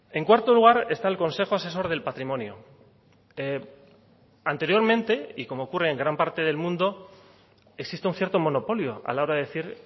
en cuarto lugar está el consejo asesor del patrimonio anteriormente y como ocurre en gran parte del mundo existe un cierto monopolio a la hora de decir